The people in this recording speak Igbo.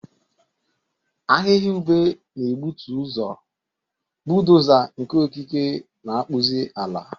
Ahịhịa ube na-egbutu ụzọ, bulldoza nke okike na-akpụzi ala.